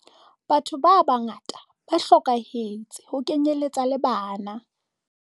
Batho ba bangata ba hlokahetse ho kenyeletsa le bana.